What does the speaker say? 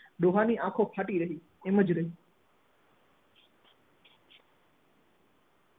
ડોહા ની આંખો ફાટી રહી એમ જ રહી